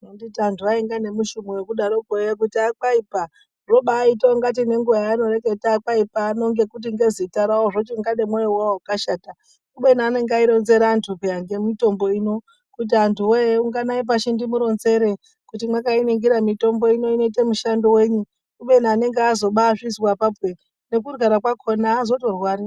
Handiti anhu ainga nemushumo wekudaroko eya kuti 'kwaipa'zvobaita kunga kunoti nenguwa yaaireketa kwaipa ano ngekuti ngezita rawo zvochinga nemwoyo wawo wakashata kubeni anenge aironzera anhu peya ngemitombo ino ,kuti antu woye unganayi pashi ndimuronzere kuti mwakainingira mitombo ino inoite mushando wenyi kubeni anenge azobaazvizwa apapo ere nekurwara kwacho azotorwari.